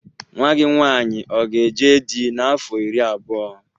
Nwa gị nwaanyị ọ ga eje dị n'afọ iri abụọ?